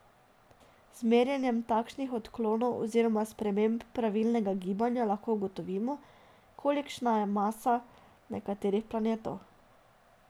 Z merjenjem takšnih odklonov oziroma sprememb pravilnega gibanja lahko ugotovimo, kolikšna je masa nekaterih planetov.